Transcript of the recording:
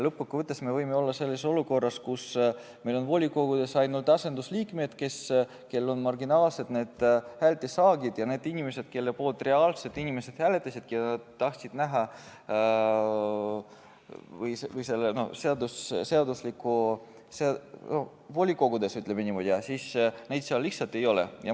Lõppkokkuvõttes võime olla selles olukorras, kus meil on volikogudes ainult asendusliikmed, kellel on marginaalsed häältesaagid, ja neid inimesi, kelle poolt inimesed reaalselt hääletasid, keda nad tahtsid näha volikogus, ütleme niimoodi, seal lihtsalt ei ole.